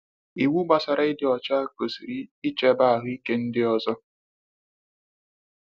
Iwu gbasara ịdị ọcha gosiri ncheba ahụike ndị ọzọ.